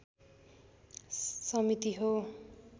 समिति हो।